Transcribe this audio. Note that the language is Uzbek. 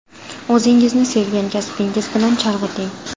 O‘zingizni sevgan kasbingiz bilan chalg‘iting!